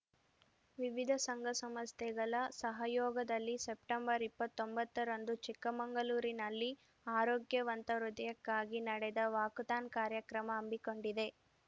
ವಿವಿಧ ಸಂಘ ಸಂಸ್ಥೆಗಳ ಸಹಯೋಗದಲ್ಲಿ ಸೆಪ್ಟೆಂಬರ್ ಇಪ್ಪತ್ತೊಂಬತ್ತ ರಂದು ಚಿಕ್ಕಮಂಗಳೂರಿನಲ್ಲಿ ಆರೋಗ್ಯವಂತ ಹೃದಯಕ್ಕಾಗಿ ನಡೆದ ವಾಕಥಾನ್‌ ಕಾರ್ಯಕ್ರಮ ಹಮ್ಮಿಕೊಂಡಿದೆ